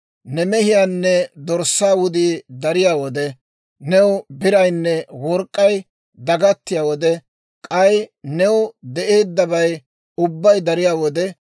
ne mehiyaanne dorssaa wudii dariyaa wode, new biraynne work'k'ay dagattiyaa wode, k'ay new de'eeddabay ubbay dariyaa wode,